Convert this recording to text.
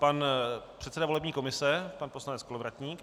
Pan předseda volební komise, pan poslanec Kolovratník.